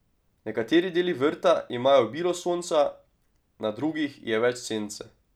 Nekateri deli vrta imajo obilo sonca, na drugih je več sence.